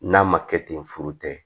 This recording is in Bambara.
N'a ma kɛ ten furu tɛ